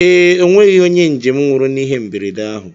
Ee, ọnweghị onye njem nwụrụ na ịhe mberede ahụ